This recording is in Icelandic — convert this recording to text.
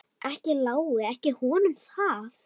Ekki lái ég honum það.